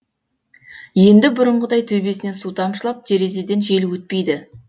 енді бұрынғыдай төбесінен су тамшылап терезеден жел өтпейді